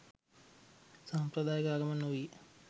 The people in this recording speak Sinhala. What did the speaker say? සාම්ප්‍රදායික ආගමක් නොවීය.